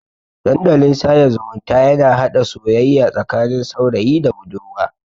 Dandalin sada zumunta yana hada soyayya tsakanin saurayi da budurwa.